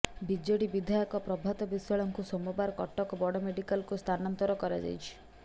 BJD ବିଧାୟକ ପ୍ରଭାତ ବିଶ୍ୱାଳଙ୍କୁ ସୋମବାର କଟକ ବଡ଼ ମେଡ଼ିକାଲକୁ ସ୍ଥାନାନ୍ତର କରାଯାଇଛି